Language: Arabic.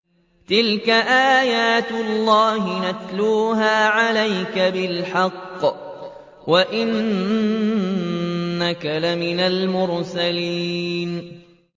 تِلْكَ آيَاتُ اللَّهِ نَتْلُوهَا عَلَيْكَ بِالْحَقِّ ۚ وَإِنَّكَ لَمِنَ الْمُرْسَلِينَ